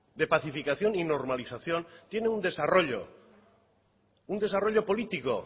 de pacificación y normalización tiene un desarrollo un desarrollo político